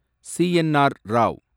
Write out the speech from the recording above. CNR. Rao